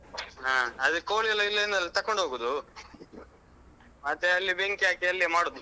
ಹ ಅದು ಕೋಳಿಯೆಲ್ಲ ಇಲ್ಲಿಂದಲೆ ತಕೊಂಡು ಹೋಗುದು ಮತ್ತೆ ಅಲ್ಲಿ ಬೆಂಕಿ ಹಾಕಿ ಅಲ್ಲೆ ಮಾಡುದು.